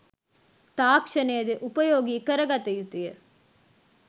තාක්‍ෂණයද උපයෝගී කරගත යුතු ය.